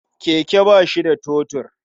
Keke ba shi da totur.